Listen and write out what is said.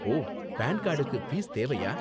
ஓ, PAN கார்டுக்கு fees தேவையா?